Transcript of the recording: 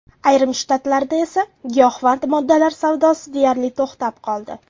Ayrim shtatlarda esa giyohvand moddalar savdosi deyarli to‘xtab qoldi.